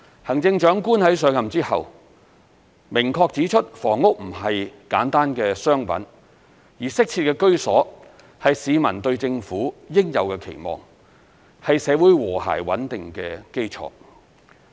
行政長官在上任後明確指出房屋並不是簡單的商品，而適切的居所是市民對政府應有的期望，是社會和諧穩定的基礎。